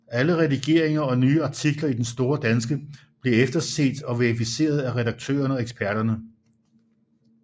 Alle redigeringer og nye artikler i Den Store Danske bliver efterset og verificeret af redaktørerne og eksperterne